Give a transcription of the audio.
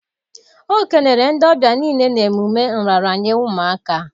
Ọ kelere ndị ọbịa niile na emume nraranye ụmụaka